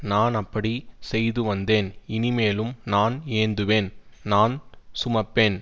நான் அப்படி செய்து வந்தேன் இனிமேலும் நான் ஏந்துவேன் நான் சுமப்பேன்